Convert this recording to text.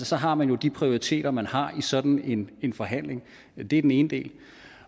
så har man jo de prioriteter man har i sådan en forhandling det er den ene del